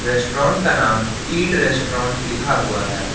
Restaurant का नाम eat restaurant लिखा हुआ है।